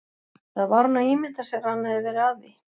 Eða var hún að ímynda sér að hann hefði verið að því?